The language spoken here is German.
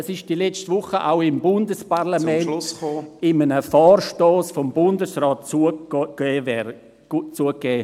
Dies wurde letzte Woche auch bei einem Vorstoss im Bundesparlament … vom Bundesrat zugegeben.